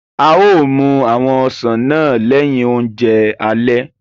A yóò mú àwọn osán náà lẹ̀hin ọ̀njẹ̀ àlẹ̀.